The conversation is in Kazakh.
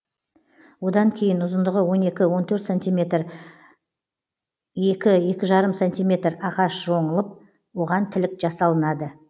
одан кейін ұзындығы он екі он төрт сантиметр екі екі жарым сантиметр ағаш жонылып оған тілік жасалынады